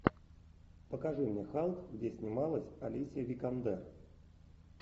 покажи мне халк где снималась алисия викандер